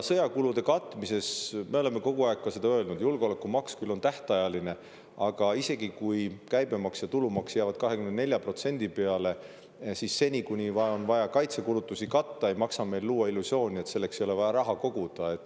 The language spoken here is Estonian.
Sõjakulude katmisest rääkides: me oleme kogu aeg ka seda öelnud, et julgeolekumaks on küll tähtajaline, aga isegi kui käibemaks ja tulumaks jäävad 24% peale, siis seni, kuni on vaja kaitsekulutusi katta, ei maksa meil luua illusiooni, et selleks ei ole vaja raha koguda.